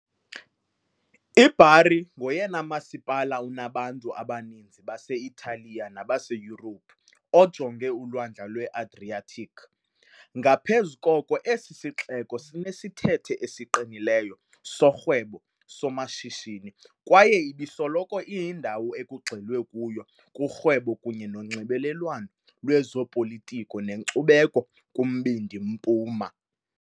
I-Bari ngoyena masipala unabantu abaninzi base-Italiya nabaseYurophu ojonge uLwandle lwe-Adriatic, ngaphezu koko esi sixeko sinesithethe esiqinileyo sorhwebo-somashishini kwaye ibisoloko iyindawo ekugxilwe kuyo kurhwebo kunye nonxibelelwano lwezopolitiko nenkcubeko kuMbindi Mpuma .